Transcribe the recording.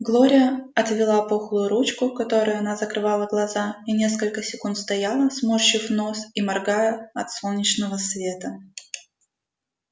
глория отвела пухлую ручку которой она закрывала глаза и несколько секунд стояла сморщив нос и моргая от солнечного света